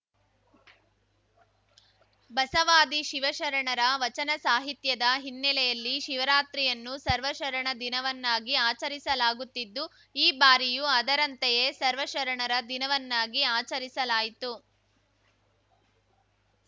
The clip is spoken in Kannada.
ಬಸವಾದಿ ಶಿವಶರಣರ ವಚನ ಸಾಹಿತ್ಯದ ಹಿನ್ನೆಲೆಯಲ್ಲಿ ಶಿವರಾತ್ರಿಯನ್ನು ಸರ್ವ ಶರಣ ದಿನವನ್ನಾಗಿ ಆಚರಿಸಲಾಗುತ್ತಿದ್ದು ಈ ಬಾರಿಯೂ ಅದರಂತೆಯೇ ಸರ್ವಶರಣರ ದಿನವನ್ನಾಗಿ ಆಚರಿಸಲಾಯಿತು